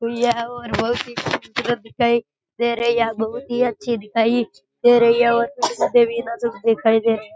या और बहुत ही खूबसूरत दिखाई दे रही है बहुत ही अच्छी दिखाई दे रही है और --